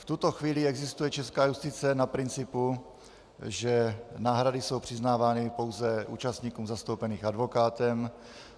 V tuto chvíli existuje česká justice na principu, že náhrady jsou přiznávány pouze účastníkům zastoupeným advokátem.